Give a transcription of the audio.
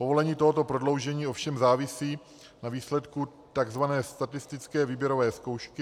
Povolení tohoto prodloužení ovšem závisí na výsledku tzv. statistické výběrové zkoušky.